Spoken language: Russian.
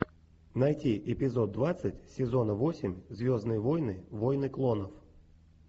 найти эпизод двадцать сезона восемь звездные войны войны клонов